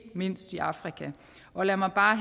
mindst i afrika og lad mig bare